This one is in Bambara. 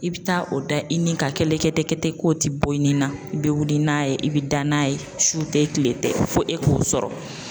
I bɛ taa o da i nin ka kɛlɛkɛtɛkɛtɛ ten k'o tɛ bɔ i ni na i bɛ wuli n'a ye i bɛ da n'a ye su tɛ tile tɛ fo e k'o sɔrɔ